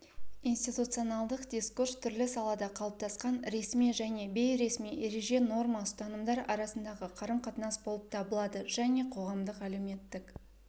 институционалдық дискурс түрлі салада қалыптасқан ресми және бейресми ереже норма ұстанымдар аясындағы қарым-қатынас болып табылады және қоғамдық әлеуметтік